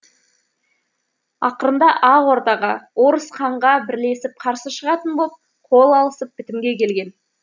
ақырында ақ ордаға орыс ханға бірлесіп қарсы шығатын боп қол алысып бітімге келген